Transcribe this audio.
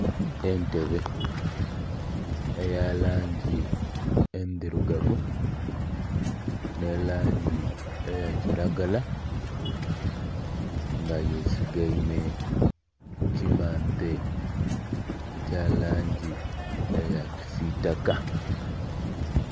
Entebe eya langi endhirugavu n'erangi eya kiragala nga bye sigaime kukimante ekya langi eya kisitaka.